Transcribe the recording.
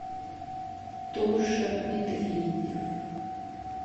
тоша медведев